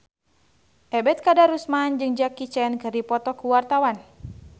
Ebet Kadarusman jeung Jackie Chan keur dipoto ku wartawan